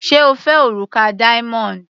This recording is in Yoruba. Sé O fẹ́ òrùka diamond?.